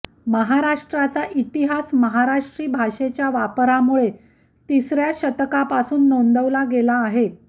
महाराष्ट्राचा इतिहास महाराष्ट्री भाषेच्या वापरामुळे तिसर्या शतकापासून नोंदवला गेला आहे